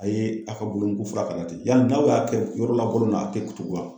A ye a ka bolo mugu fura k'a la ten, yali n'aw y'a kɛ yɔrɔ la kolon na a te tugun wa ?